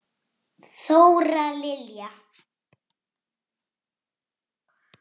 Þóra Lilja.